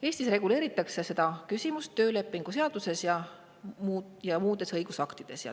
Eestis reguleeritakse seda küsimust töölepingu seaduses ja muudes õigusaktides.